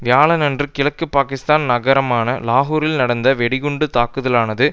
வியாழன்று கிழக்கு பாகிஸ்தான் நகரமான லாகூரில் நடந்த வெடிகுண்டு தாக்குதலானது